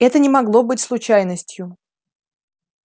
это не могло быть случайностью